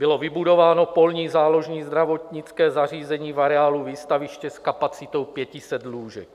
Bylo vybudováno polní záložní zdravotnické zařízení v areálu Výstaviště s kapacitou 500 lůžek.